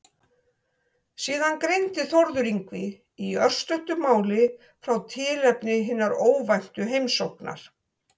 Síðan greindi Þórður Yngvi í örstuttu máli frá tilefni hinnar óvæntu heimsóknar.